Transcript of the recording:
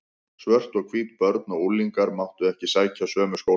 Svört og hvít börn og unglingar máttu ekki sækja sömu skólana.